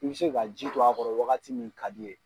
I be se ka ji don a kɔrɔ wagati min kad'i ye.